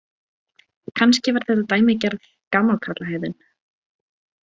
Kannski var þetta dæmigerð gamallakarlahegðun.